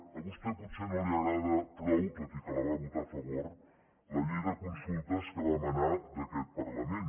a vostè potser no li agrada prou tot i que la va votar a favor la llei de consultes que va emanar d’aquest parlament